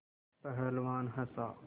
पहलवान हँसा